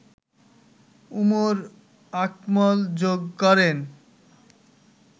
উমর আকমল যোগ করেন